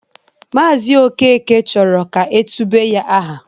Maazi Okeke chọrọ ka e tube ya aha.